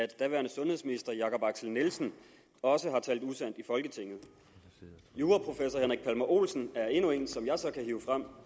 daværende sundhedsminister herre jakob axel nielsen også har talt usandt i folketinget juraprofessor henrik palmer olsen er endnu en som jeg så kan hive frem